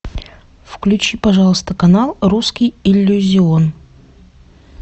включи пожалуйста канал русский иллюзион